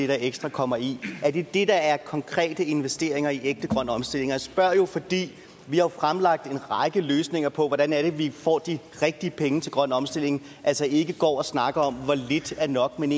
der ekstra kommer i er det det der er konkrete investeringer i ægte grøn omstilling og jeg spørger jo fordi vi har fremlagt en række løsninger på hvordan vi får de rigtige penge til grøn omstilling altså ikke går og snakker om hvor lidt er nok men